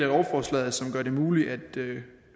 lovforslaget som gør det muligt